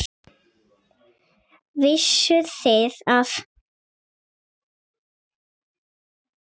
Vissuð þið það?